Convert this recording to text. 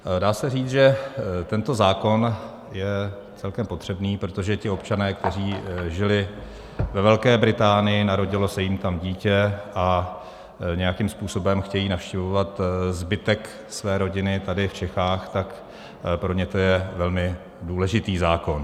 Dá se říct, že tento zákon je celkem potřebný, protože ti občané, kteří žili ve Velké Británii, narodilo se jim tam dítě a nějakým způsobem chtějí navštěvovat zbytek své rodiny tady v Čechách, tak pro ně to je velmi důležitý zákon.